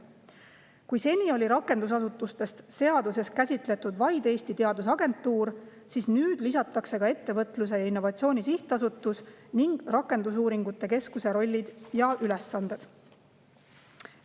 Kui seni oli rakendusasutustest seaduses käsitletud vaid Eesti Teadusagentuuri, siis nüüd lisatakse ka Ettevõtluse ja Innovatsiooni Sihtasutuse ning rakendusuuringute keskuse rollid ja ülesanded.